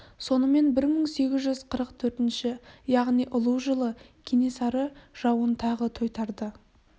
сонымен бір мың сегіз жүз қырық төртінші яғни ұлу жылы кенесары жауын тағы тойтарды